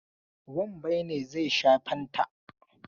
Wambai ne zai sha fanta.